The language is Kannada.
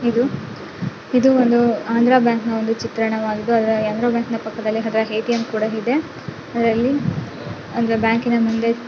ಇದು ಇದು ಒಂದು ಆಂಧ್ರ ಬ್ಯಾಂಕ್ ನ ಒಂದು ಚಿತ್ರಣವಾಗಿದ್ದು ಅದರ ಪಕ್ಕದಲ್ಲಿ ಒಂದು ಎಟಿಎಂ ಕೂಡ ಇದೆ ಅಂದರೆ ಬ್ಯಾಂಕಿನ ಮುಂದೆ--